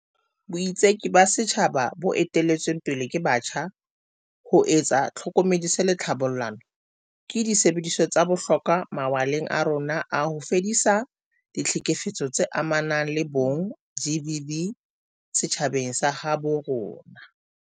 Boitseki ba setjhaba bo ete-lletsweng pele ke batjha, ho etsa tlhokomediso le tlhabollano, ke disebediswa tsa bohlokwa mawaleng a rona a ho fedisa ditlhekefetso tse amanang le bong, GBV, setjhabeng sa habo rona.